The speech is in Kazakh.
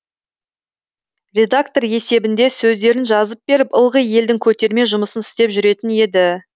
редактор есебінде сөздерін жазып беріп ылғи елдің көтерме жұмысын істеп жүретін еді